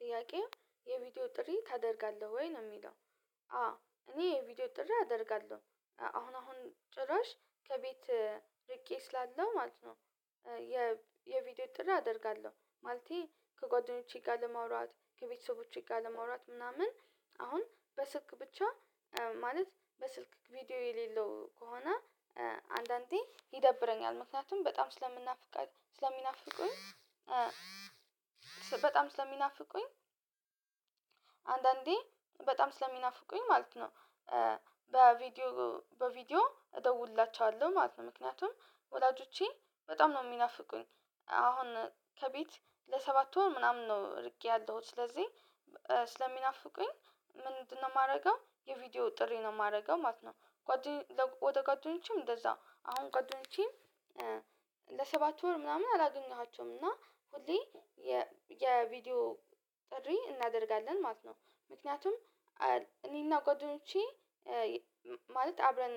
ጥያቄው የቪዲዮ ጥሪ ታደርጋለህ ወይ? ነው የሚለው አዎ እኔ የቪዲዮ ጥርህ አደርጋለሁ። አሁን አሁን ጭራሽ ከቤት ርቄ ስላለው ማለት ነው የቪዲዮ ጥሪ አደርጋለሁ። ማለቴ ከጓደኞቼ ጋር ለመውራት፤ ከቤተሰቦቼ ጋር ለመውራት ምናምን አሁን በስልክ ብቻ ማለት በስልክ ቪዲዮ የሌለው ከሆነ አንዳንዴ ይደብረኛል። ምክንያቱም በጣም ስለሚናፍቁኝ አንዳንዴ በጣም ስለሚናፍቁኝ ማለት ነው። በቪዲዮ እደውልላቸዋለሁ ማለት ነው ምክንያቱም ወላጆቼ በጣም ነው የሚናፍቁኝ። አሁን ከቤት ለሰባት ወር ምናምን ነው እርቄ ያለሁት ስለዚህ ስለሚናፍቁኝ ምንድነው የማደርገው የቪዲዮ ጥሪ ነው የማደርገው ማለት ነው። ወደ ጓደኞቼም እንደዛ አሁን ጎደኞቼም ለሰባት ወር ምናምን አላገኘኃቸውም እና ሁሌ የቪዲዮ ጥሪ እናደርጋለን ማለት ነው። ምክንያቱም እኔና ጓደኞቼ ማለት አብረን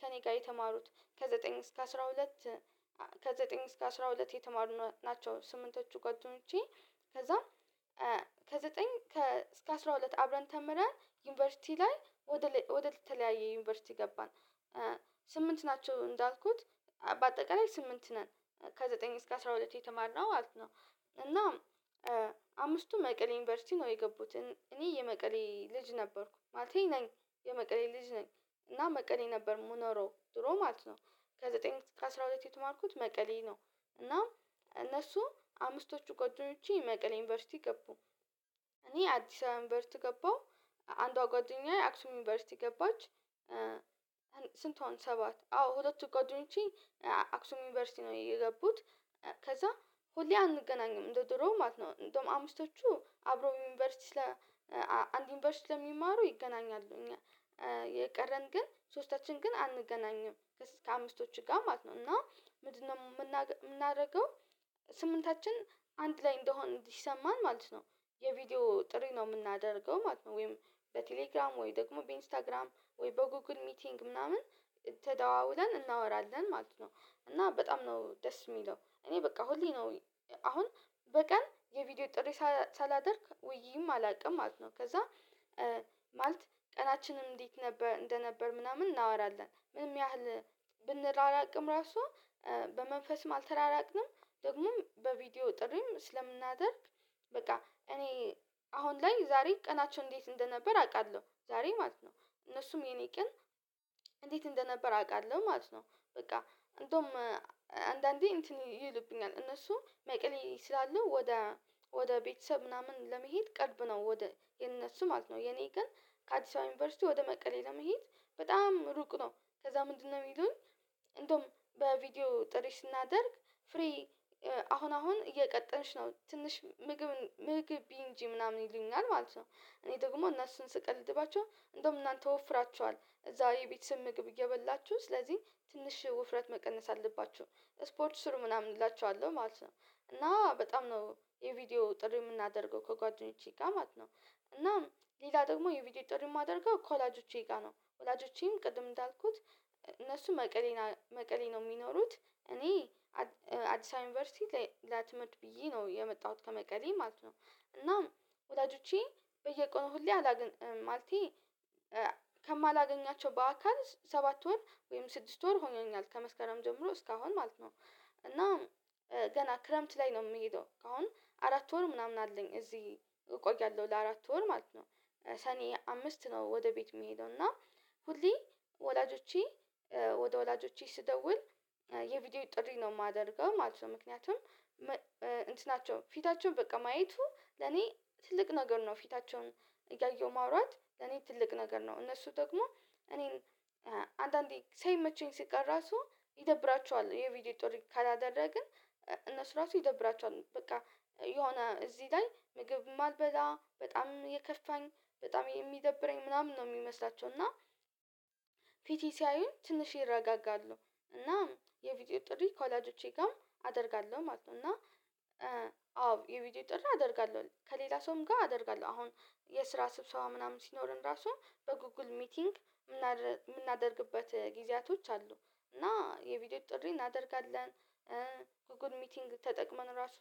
ከእኔ ጋር የተማሩት ከዘጠኝ እስከ አስራ ሁለት የተማሩ ናቸው ስምንቶቹ ጓደኞቼ። ከዛ ከዘጠኝ እስከ አስራ ሁለት አብረን ተምረን ዩኒቨርሲቲ ላይ ወደ ተለያየ ዩኒቨርሲቲ ገባን ስምንት ናቸው እንዳልኩት። በአጠቃላይ ስምንት ነ፤ ከዘጠኝ እስከ አስራ ሁለት የተማርነው ማለትነው እና አምስቱ መቀሌ ዩኒቨርሲቲ ነው የገቡት። እኔ የመቀሌ ልጅ ነበርኩ ማለቴ ነኝ። የመቀሌ ልጅ ነኝ እና መቀሌ ነበር የምኖረው ድሮ ማለት ነው ከዘጠኝ እስከ አስራ ሁለት የተማርኩት መቀሌ ነው እና እነሱ አምስቶቹ ጓደኞቼ መቀሌ ዩኒቨርሲቲ ገቡ። እኔ አዲስ አበባ ዩኒቨርሲቲ ገባሁ። አንዷ ጓደኛዬ አክሱም ዩኒቨርሲቲ ገባች። ስንት ሆነ ሰባት አዎ ሁለቱ ቀድሞች አክሱም ዩኒቨርሲቲ ነው እየገቡት። ከዛ ሁሌ አንገናኝ፤ እንደ ድሮው ማለት ነው እንደውም አምስቶቹ አብረው ዩኒቨርሲቲ አንድ ዩኒቨርሲቲ ስለሚማሩ ይገናኛሉ። የቀረን ግን ሶስታችን ግን አንገናኝም ከአምስቶች ጋር ማለት ነው እና ምንድነው የምናደርገው? ስምንታችን አንድ ላይ እንደሆን እንዲሰማን ማለት ነው የቪዲዮ ጥሪ ነው የምናደርገው ማለት ነው ወይም በቴሌግራም ወይ ደግሞ በኢንስታግራም ወይ በጎግል ሚቲንግ ምናምን ተደዋውለን እናወራለን ማለት ነው። እና በጣም ነው ደስ የሚለው እኔ በቃ ሁሌ ነው አሁን በቀን የቪዲዮ ጥሬ ሳላደርግ ውዬም አላቅም ማለት ነው ከዛ ማለት ቀናችንም እንዴት እንደነበር ምናምን እናወራለን። ምንም ያህል ብንራራቅም ራሱ በመንፈስም አልተራራቅንም፤ ደግሞም በቪዲዮ ጥሪም ስለምናደርግ በቃ እኔ አሁን ላይ ዛሬ ቀናቸው እንዴት እንደነበር አውቃለሁ። ዛሬ ማለት ነው እነሱም የኔ ቀን እንዴት እንደነበር ያውቃሉ ማለት ነው። በቃ እንደውም አንዳንዴ እንትን ይሉብኛል እነሱ መቀሌ ስላሉ ወደ ቤተሰብ ምናምን ለመሄድ ቅርብ ነው። ወደ የነሱ ማለት ነው የኔ ግን ከአዲስ አበባ ዩኒቨርሲቲ ወደ መቀሌ ለመሄድ በጣም ሩቅ ነው። ከዛ ምንድነው የሚሉኝ እንደውም በቪዲዮ ጥሪ ስናደርግ ፍሬ አሁን አሁን እየቀጠንሽ ነው ትንሽ ምግብ እንጂ ምናምን ይሉኛል ማለት ነው። እኔ ደግሞ እነሱን ስቀልድባቸው እንደውም እናንተ ወፍራችኅል እዛ የቤተሰብ ምግብ እየበላችሁ ስለዚህ ትንሽ ውፍረት መቀነስ አለባችሁ ስፖርት ስሩ ምናምን እላችኋለሁ ማለት ነው። እና በጣም ነው የቪዲዮ ጥሪ የምናደርገው ከጓደኞቼ ጋር ማለት ነው። እና ሌላ ደግሞ የቪዲዮ ጥሪ የማደርገው ከወላጆቼ ጋር ነው ወላጆቼም ቅድም እንዳልኩት እነሱ መቀሌ ነው የሚኖሩት። እኔ አዲስ አበባ ዩኒቨርሲቲ ለት/ት ብዬ ነው የመጣሁት ከመቀሌ ማለት ነው እናም ወላጆቼ በየቀኑ ሁሌ ማለቴ ከማላገኛቸው በአካል ሰባት ወር ወይም ስድስት ወር ሆኜኛል። ከመስከረም ጀምሮ እስካሁን ማለት ነው እና ገና ክረምት ላይ ነው የምሄደው አሁን አራት ወር ምናምን አለኝ እዚህ እቆያለሁ ለአራት ወር ማለት ነው። ሰኔ አምስት ነው ወደ ቤት የምሄደው እና ሁሌ ወላጆቼ ወደ ወላጆቼ ስደውል የቪዲዮው ጥሪ ነው የማደርገው ማለት ነው። ምክንያቱም ፊታቸውን በቃ ማየቱ ለኔ ትልቅ ነገር ነው። ፊታቸውን እያየሁ ማውራት ለኔ ትልቅ ነገር ነው። እነሱ ደግሞ እኔን አንዳንዴ ሳይመቸኝ ሲቀር ራሱ ይደብራቸዋል የቪዲዮ ጦር ካላደረግን እነሱ ራሱ ይደብራቸዋል በቃ የሆነ እዚህ ላይ ምግብ ማልበላ፤ በጣም የከፋኝ፤ በጣም የሚደብረኝ ምናምን ነው የሚመስላቸው እና ፊቴን ሲያዩን ትንሽ ይረጋጋሉ። እና የቪዲዮ ጥሪ ከወላጆቼ ጋርም አደርጋለሁ ማለት ነው። እና አዎ የቪዲዮ ጥር አደርጋለሁ። ከሌላ ሰውም ጋር አደርጋለሁ። አሁን የስራ ስብሰባ ምናምን ሲኖረን ራሱ በጉግል ሚቲንግ የምናደርግበት ጊዜያቶች አሉ። እና የቪዲዮ ጥሪ እናደርጋለን ጉጉል ሚቲንግ ተጠቅመን ራሱ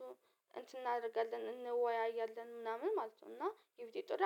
እንትን እናደርጋለን እንወያያለን ምናምን ማለት ነው እና የቪዲዎ ጥሪ